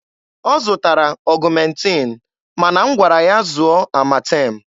Ọ zụtara ọgụmentin ma na m gwara ya zụọ amatem.